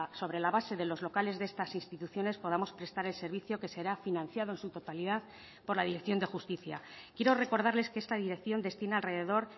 sobre la base de los locales de estas instituciones podamos prestar el servicio que será financiado en su totalidad por la dirección de justicia quiero recordarles que esta dirección destina alrededor